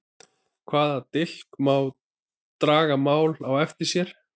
Hvaða dilk draga mál á eftir sér?